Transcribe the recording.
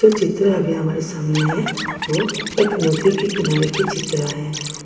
चित्र अभी हमारे सामने है वो एक नदी के किनारे की चित्र है औ --